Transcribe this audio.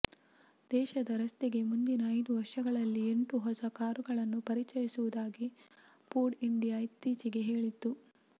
ದೇಶದ ರಸ್ತೆಗೆ ಮುಂದಿನ ಐದು ವರ್ಷಗಳಲ್ಲಿ ಎಂಟು ಹೊಸ ಕಾರುಗಳನ್ನು ಪರಿಚಯಿಸುವುದಾಗಿ ಫೋರ್ಡ್ ಇಂಡಿಯಾ ಇತ್ತೀಚೆಗೆ ಹೇಳಿತ್ತು